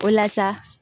O la sa